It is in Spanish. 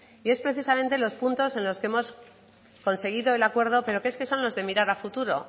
y es precisamente los puntos en los que hemos conseguido el acuerdo pero es que son los de mirar a futuro